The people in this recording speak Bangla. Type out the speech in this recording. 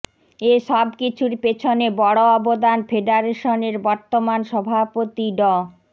এ সব কিছুর পেছনে বড় অবদান ফেডারেশনের বর্তমান সভাপতি ড